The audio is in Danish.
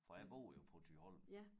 For jeg bor jo på Thyholm